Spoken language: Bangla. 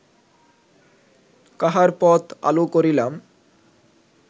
কাহার পথ আলো করিলাম